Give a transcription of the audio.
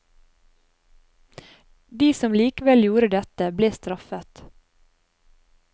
De som likevel gjorde dette ble straffet.